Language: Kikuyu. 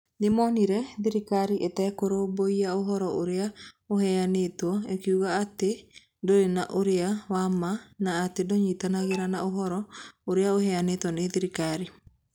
Nĩ monire thirikari ĩtekũrũmbũiya ũhoro ũrĩa ũheanĩtwo ĩkiugaga atĩ ndũrĩ na ũira wa ma na atĩ ndũnyitanagĩra na ũhoro ũrĩa ũheanĩtwo nĩ thirikari.